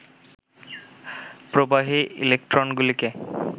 প্রবাহী ইলেক্ট্রনগুলিকে